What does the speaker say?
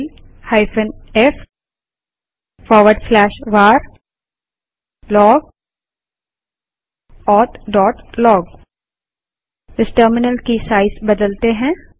tail f varlogauthlog इस terminal की size बदलते हैं